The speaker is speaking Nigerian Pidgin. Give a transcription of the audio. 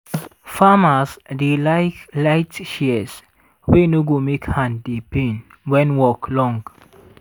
farmers dey like light shears wey no go make hand dey pain when work long.